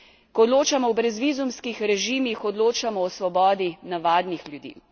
Ko odločamo o brezvizumskih režimih, odločamo o svobodi navadnih ljudi.